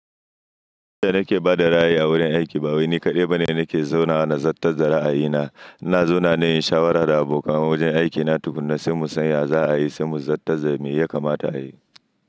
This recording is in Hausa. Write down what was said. Ni da nake ba da ra'ayi a wurin aiki, ba wai ni kaɗai ba ne nake zauna na zattar da ra'ayina. Ina zauna ne in shawara da abokan wajen aikina tukuna sai mu san ya za a yi, sai mu zattar me ya kamata a yi.